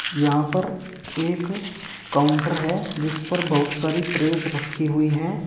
यहां पर एक काउंटर है जिस पर बहुत सारी प्रेस रखी हुई हैं।